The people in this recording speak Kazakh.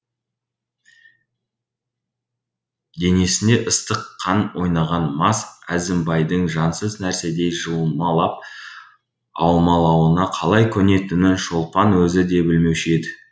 денесінде ыстық қан ойнаған мас әзімбайдың жансыз нәрседей жұлмалап алмалауына қалай көнетінін шолпан өзі де білмеуші еді